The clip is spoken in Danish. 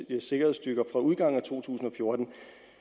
sikkerhedsstyrker fra udgangen af 2014